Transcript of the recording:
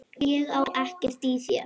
Ég á ekkert í þér!